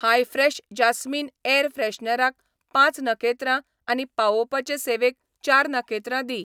हाय fresh jasmine air फ्रेशनराक पांच नखेत्रां आनी पावोवपाचे सेवेक चार नखेत्रां दी.